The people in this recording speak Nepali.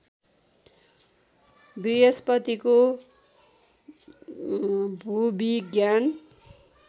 बृहस्पतिको भूविज्ञान